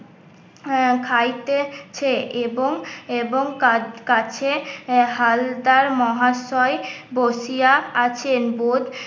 আহ খাইতেছে এবং এবং কা কাছে হালদার মহাশয় বসিয়া আছেন বোধ